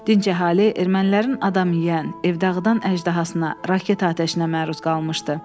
Dinc əhali ermənilərin adam yeyən, ev dağıdan əjdahasına, raket atəşinə məruz qalmışdı.